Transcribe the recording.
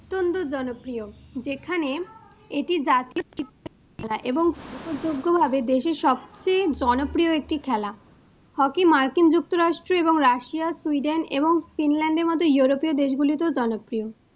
Hockey মার্কিন যুক্তরাষ্ট্র এবং Russia, Sweden এবং Finland মতো Europe পীও দেশগুলিতেও জনপ্রিয়।